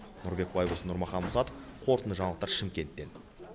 нұрбек байбосын нұрмахан мұсатов қорытынды жаңалықтар шымкенттен